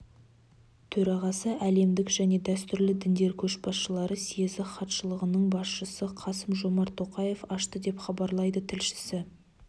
төрағасы әлемдік және дәстүрлі діндер көшбасылары съезі хатшылығының басшысы қасым-жомарт тоқаев ашты деп хабарлайды тілшісі